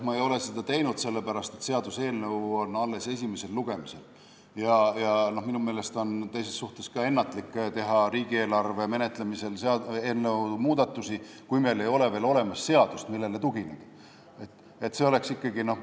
Ma ei ole seda teinud, sest seaduseelnõu on alles esimesel lugemisel ja minu meelest oleks ka ennatlik teha riigieelarve menetlemisel muudatusi, kui ei ole veel olemas seadust, millele tugineda.